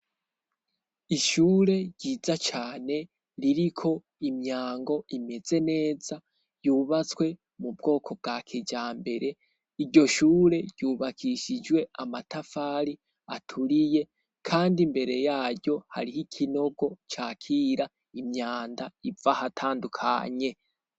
Ishure ryiza cane ,ririko imyango imeze neza yubatswe mu bwoko bwa kijambere, iryo shure ryubakishijwe amatafari aturiye ,kandi imbere yaryo hariho ikinogo cakira imyanda iv'ahatandukanye.